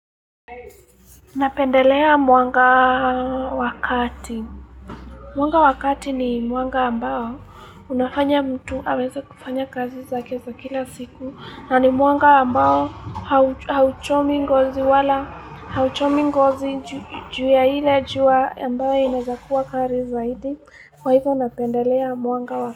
Napendelea mwanga wa kati. Mwanga wakati ni mwanga ambao unafanya mtu aweze kufanya kazi zake za kila siku na ni mwanga ambao hauchomi ngozi wala hauchomi ngozi juu ya ile jua ambayo inawezakuwa kali zaidi. Kwa hivyo napendelea mwanga wakati.